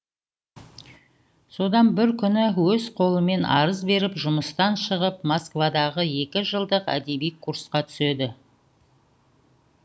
содан бір күні өз қолымен арыз беріп жұмыстан шығып москвадағы екі жылдық әдеби курсқа түседі